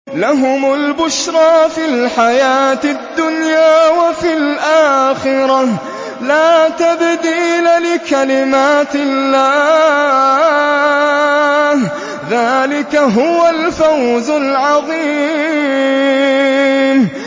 لَهُمُ الْبُشْرَىٰ فِي الْحَيَاةِ الدُّنْيَا وَفِي الْآخِرَةِ ۚ لَا تَبْدِيلَ لِكَلِمَاتِ اللَّهِ ۚ ذَٰلِكَ هُوَ الْفَوْزُ الْعَظِيمُ